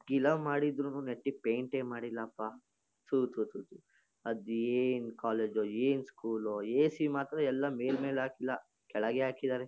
ಗಿಲಾವ್ ಮಾಡಿದ್ರುನೂ ನೆಟ್ಟಗ್ ಪೈಂಟ್ ಮಾಡಿಲಪ್ಪ. ತು ತು ತು ತು ಅದೇನ್ ಕೊಲೆಜೋ ಏನ್ ಸ್ಕೂಲೋ ಎ_ಸಿ ಮಾತ್ರ ಎಲ್ಲಾ ಮೇಲ್ ಮೇಲ್ ಹಾಕಿಲ್ಲ. ಕೆಳಗೆ ಹಾಕಿದಾರೆ.